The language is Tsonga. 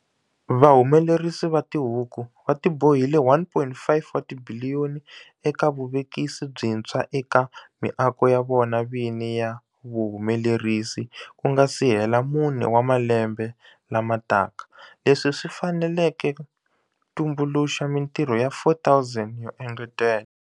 Vahumelerisi va tihuku va tibohile R1.5 wa tibiliyoni eka vuvekisi byintshwa eka miako ya vona vini ya vuhumelerisi ku nga si hela mune wa malembe lama taka, leswi swi faneleke tumbuluxa mitirho ya 4 000 yo engetela.